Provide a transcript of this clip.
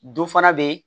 Dɔ fana bɛ yen